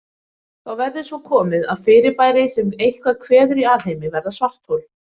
Þá verður svo komið að fyrirbæri sem eitthvað kveður í alheimi verða svarthol.